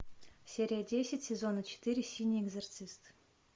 серия десять сезона четыре синий экзорцист